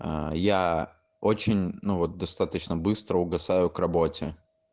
аа я очень ну вот достаточно быстро угасаю к работе